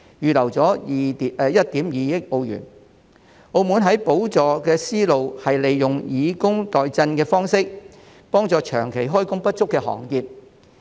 澳門在補助方面的思路是利用以工代賑的方式，幫助長期開工不足的行業。